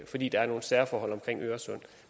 fordi der er nogle særforhold i forbindelse med øresund